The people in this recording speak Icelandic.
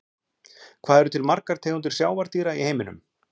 hvað eru til margar tegundir sjávardýra í heiminum